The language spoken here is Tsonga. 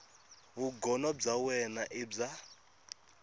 vugono bya wena i bya